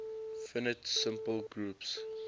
finite simple groups